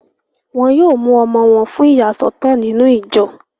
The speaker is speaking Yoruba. Wọ́n yóò mú ọmọ wọn fún ìyàsọ́tọ̀ nínú ìjọ